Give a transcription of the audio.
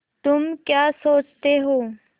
तुम क्या सोचते हो